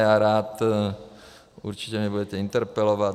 Já rád... určitě mě budete interpelovat.